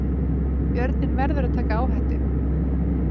Björninn verður að taka áhættu